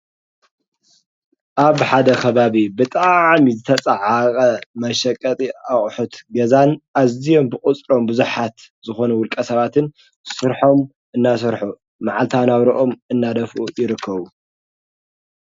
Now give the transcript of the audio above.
ኣብ ሓደ ኸባብ ብጥ ዓሚ ዝተጸዓቐ መሸቀጢ ኣቝሑት ገዛን ኣዝኦም ብቕጽሮም ብዙኃት ዝኾነ ውልቀ ሰባትን ሥርሖም እናሠርኁ ማዓልታ ናኣውርኦም እናደፍኡ ይርከዉ።